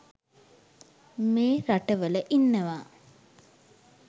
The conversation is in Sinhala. මේ රටවල ඉන්නවා